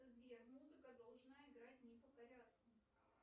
сбер музыка должна играть не по порядку